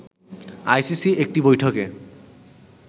আইসিসির একটি বৈঠকে